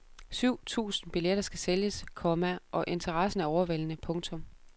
Syv tusind billetter skal sælges, komma og interessen er overvældende. punktum